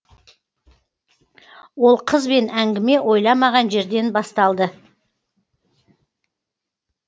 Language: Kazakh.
ол қызбен әңгіме ойламаған жерден басталды